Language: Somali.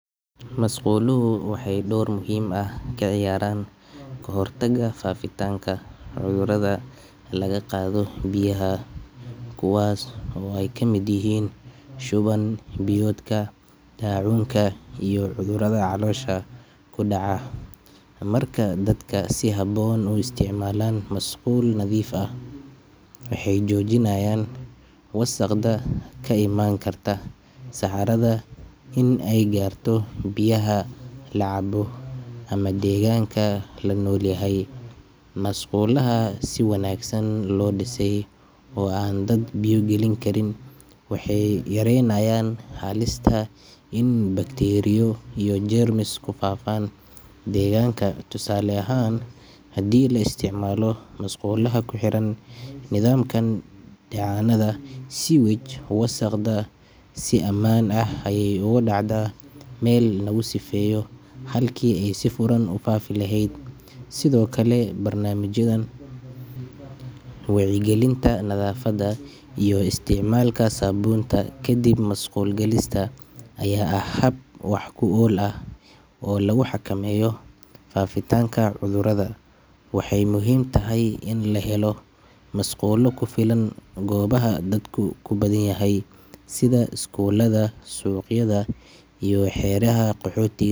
Masquluhu waxey dor muhim aah kaciyaran kahortaga fafitanka cudhuradha laga qadho biyaha kuwas oo eykamid yihin shuwan biyoka dacunka iyo cudhuradha kudaca marka si habon uu isticmalan musqul nadhif aah maxey jojinayan wasaqdha kaiman karta saxaradha in eygarto biyaha lacabo ama deganka lagu nol yahay masqulaha si wanagsan lodisay oo an dad biyo galin karin waxey yarenayan halista bacteria jiyo permissable iney fafan danka tusale ahan hadi laistic malo masqulaha kuxiran nidhamkan ee daca nadha sidha wasaqdha si aman ah ayey ogadacdha Mel lugu sifeyo sidho kale damaged yadha wecya galinta iyo istic malka sabunta musqul galista aya aah wax kuol Oo lagu xaka meyo fafitanka cudhuradha waxey muhim tahayin laga helo olo kufilan gobaha dadka kubadhan yahay sidha iskuladha suq yadha Ee xer yaha qoxotiga